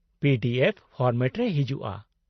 -P D F format ᱨᱮ ᱦᱤᱡᱩᱜᱼᱟ ᱾